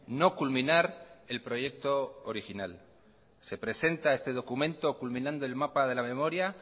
no culminar el proyecto original se presenta este documento culminando el mapa de la memoria